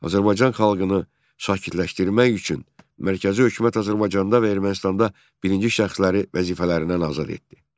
Azərbaycan xalqını sakitləşdirmək üçün Mərkəzi hökumət Azərbaycanda və Ermənistanda birinci şəxsləri vəzifələrindən azad etdi.